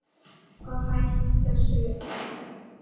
Og hætt þessu hel